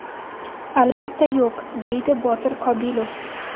Albatta yo‘q”, – deydi Botir Qobilov.